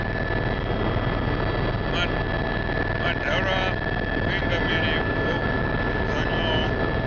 madalo a vhuingameli ho dzudzanywaho